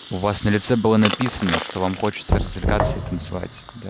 у вас на лице было написано что вам хочется развлекаться и танцевать да